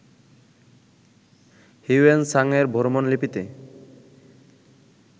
Hiuen সাংএর ভ্রমণলিপিতে